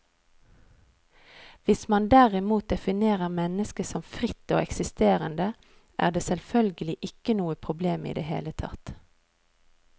Hvis man derimot definerer mennesket som fritt og eksisterende, er det selvfølgelig ikke noe problem i det hele tatt.